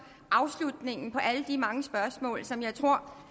afslutning på alle de mange spørgsmål som jeg tror